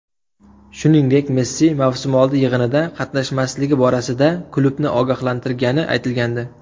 Shuningdek Messi mavsumoldi yig‘inida qatnashmasligi borasida klubni ogohlantirgani aytilgandi .